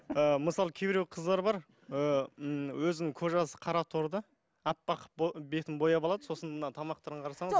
ы мысалға кейбіреу қыздар бар ы м өзінің кожасы қараторы да аппақ қылып бетін бояп алады сосын мына тамақтарын қарасаңыз